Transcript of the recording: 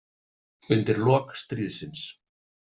Undir lok stríðsins.